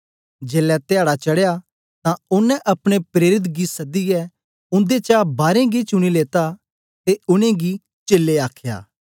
जेलै धयाडा चडया तां ओनें अपने प्रेरित गी सदियै उन्देचा बारें गी चुनी लेत्ता ते उनेंगी प्रेरित चेलें आखया